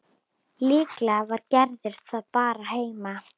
Líklega var Gerður bara heima.